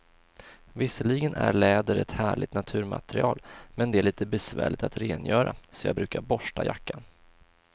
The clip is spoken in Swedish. Visserligen är läder ett härligt naturmaterial, men det är lite besvärligt att rengöra, så jag brukar borsta jackan.